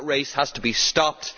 That race has to be stopped.